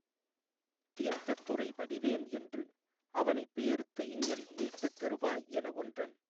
தீர்த்தத் துறைபடிவேன் என்றுஅவனைப் பேர்த்துஇங்ஙன் மீட்டுத் தருவாய் எனஒன்றன்